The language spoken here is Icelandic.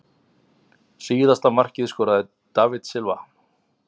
Síðasta markið skoraði David Silva.